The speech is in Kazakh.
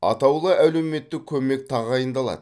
атаулы әлеуметтік көмек тағайындалады